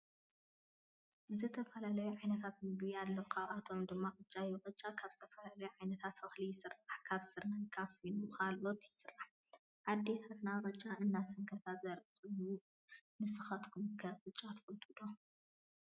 ዝተፈላለዩ ዓይነታት ምግቢ አለው ካብአቶም ድማ ቅጫ እዩ። ቅጫ ካብ ዝተፈላለዩ ዓይነት እክሊ ይስራሕ ካብ ስርናይ ካብ ፊኖ ካልኦትን ይስራሕ። አዴታትና ቅጫ እናሰንከታ ዘሪኢ ኮይኑ እዩ። ንስካትኩም ከ ቅጫ ትፈትዉ ዶ?